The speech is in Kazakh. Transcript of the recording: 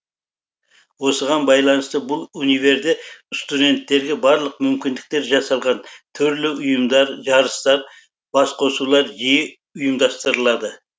осыған байланысты бұл универде студенттерге барлық мүмкіндіктер жасалған түрлі ұйымдар жарыстар басқосулар жиі ұйымдастырылады